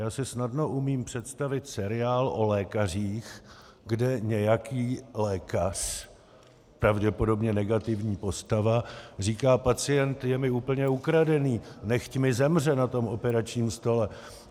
Já si snadno umím představit seriál o lékařích, kde nějaký lékař, pravděpodobně negativní postava, říká: Pacient je mi úplně ukradený, nechť mi zemře na tom operačním stole.